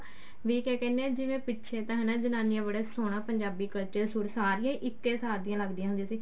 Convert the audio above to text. ਵੀ ਕਿਆ ਕਹਿਨੇ ਆ ਜਿਵੇਂ ਪਿੱਛੇ ਤਾਂ ਹਨਾ ਜਨਾਨੀਆਂ ਬੜਾ ਸੋਹਣਾ ਪੰਜਾਬੀ culture ਸਾਰੀਆਂ ਹੀ ਇੱਕੇ ਸਾਰ ਦੀਆਂ ਲਗਦੀਆਂ ਹੁੰਦੀਆਂ ਸੀ